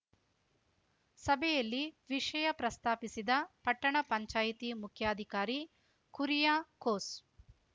ಸಭೆಯಲ್ಲಿ ವಿಷಯ ಪ್ರಸ್ತಾಪಿಸಿದ ಪಟ್ಟಣ ಪಂಚಾಯಿತಿ ಮುಖ್ಯಾಧಿಕಾರಿ ಕುರಿಯಾಕೋಸ್‌